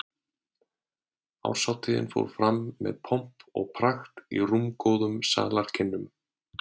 Árshátíðin fór fram með pomp og prakt í rúmgóðum salarkynnum